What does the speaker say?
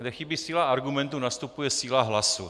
Kde chybí síla argumentu, nastupuje síla hlasu.